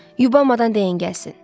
Yubamadan deyin gəlsin.